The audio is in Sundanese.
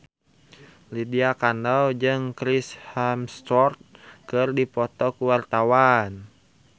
Lydia Kandou jeung Chris Hemsworth keur dipoto ku wartawan